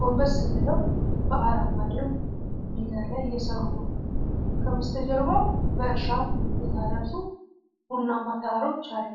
ጎንበስ ብለው በአረንጓዴው ሜዳ ላይ እየሠሩ ነው። ከበስተጀርባው በእርሻ የታረሱ ቡናማ ተራሮች አሉ።